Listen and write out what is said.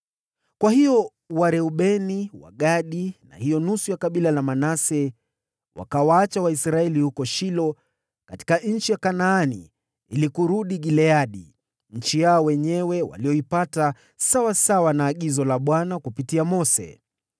Kwa hiyo Wareubeni, Wagadi na hiyo nusu ya kabila la Manase wakawaacha Waisraeli huko Shilo katika nchi ya Kanaani ili kurudi Gileadi, nchi yao wenyewe waliyoipata sawasawa na agizo la Bwana kupitia Mose.